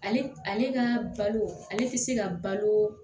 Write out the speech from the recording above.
Ale ale ka balo ale ti se ka balo